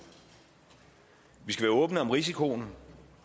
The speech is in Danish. vi skal være åbne om risikoen